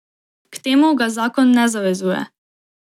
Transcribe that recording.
K temu ga zakon ne zavezuje.